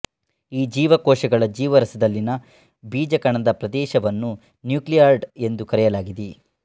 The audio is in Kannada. ಈ ಜೀವಕೋಶಗಳ ಜೀವರಸದಲ್ಲಿನ ಬೀಜಕಣದ ಪ್ರದೇಶವನ್ನು ನ್ಯೂಕ್ಲಿಯಾಯ್ಡ್ ಎಂದು ಕರೆಯಲಾಗಿದೆ